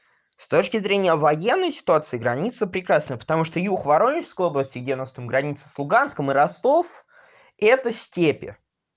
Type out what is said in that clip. с точки зрения военной ситуации граница прекрасна потому что юг воронежской области где у нас там граница с луганском и ростов это степи